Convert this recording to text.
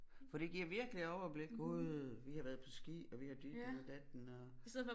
For det giver virkelig overblik Gud vi har været på ski og vi har ditten og datten og